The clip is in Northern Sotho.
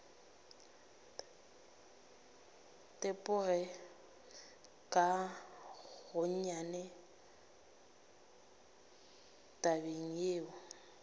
tepoge ka gonnyane tabeng yeo